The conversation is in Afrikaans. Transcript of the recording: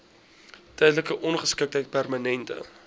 tydelike ongeskiktheid permanente